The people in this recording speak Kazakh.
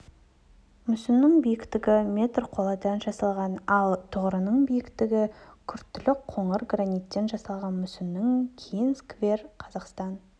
мүсіннің биіктігі метр қоладан жасалған ал тұғырының биіктігі күртілік қоңыр граниттен жасалған мүсіннен кейін сквер қазақстан